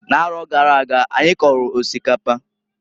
N'aro gara aga, anyi kọlụ osikapa.